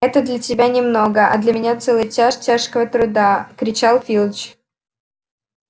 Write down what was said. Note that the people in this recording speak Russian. это для тебя немного а для меня целый час тяжкого труда кричал филч